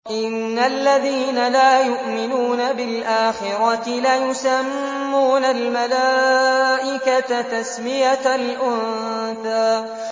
إِنَّ الَّذِينَ لَا يُؤْمِنُونَ بِالْآخِرَةِ لَيُسَمُّونَ الْمَلَائِكَةَ تَسْمِيَةَ الْأُنثَىٰ